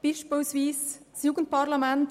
Ein Beispiel ist das Jugendparlament.